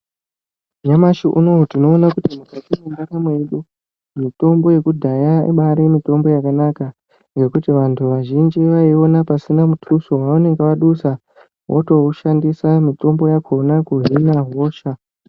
Nyamashi unowu tinoona kuti mukati mendaramo yedu mutombo yekudhaya inobayiri mutombo yakanaka nekuti vanhu vazhinji vaiwana pasina mututso wavanenge vadutsa votoushandisa mutombo wakona kuhina hosha.